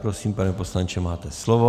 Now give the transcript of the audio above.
Prosím, pane poslanče, máte slovo.